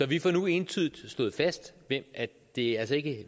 vi får nu entydigt slået fast at det altså ikke